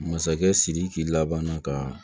Masakɛ sidiki laban ka